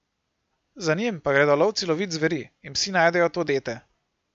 Za njim pa gredo lovci lovit zveri in psi najdejo to dete.